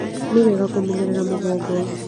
Nĩ wega kũmenyerera mũgongo